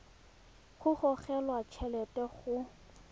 go gogelwa t helete go